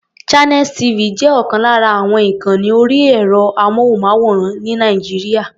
Channels TV jẹ́ ọ̀kan lára àwọn ìkànni orí ẹ̀rọ-amóhùnmáwòrán ní Nàìjíríà.